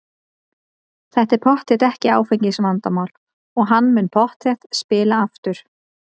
Þetta er pottþétt ekki áfengisvandamál og hann mun pottþétt spila aftur.